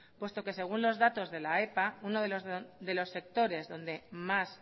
puesto que según los datos de la epa uno de los sectores donde más